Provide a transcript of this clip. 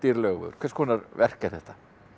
Laugavegur hvers konar verk er þetta